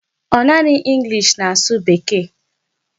Ọ naanị English na-asụ Bekee?